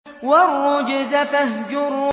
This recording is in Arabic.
وَالرُّجْزَ فَاهْجُرْ